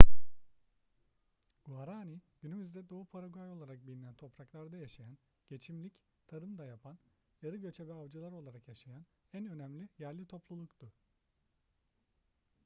guaraní günümüzde doğu paraguay olarak bilinen topraklarda yaşayan geçimlik tarım da yapan yarı göçebe avcılar olarak yaşayan en önemli yerli topluluktu